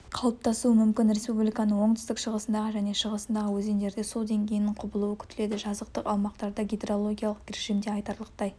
қалыптасуы мүмкін республиканың оңтүстік-шығысындағы және шығысындағы өзендерде су деңгейінің құбылуы күтіледі жазықтық аумақтарда гидрологиялық режимде айтарлықтай